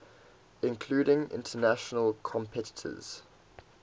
including international competitors